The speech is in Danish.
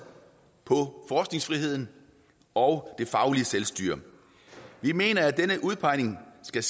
på forskningsfriheden og det faglige selvstyre vi mener at denne udpegning skal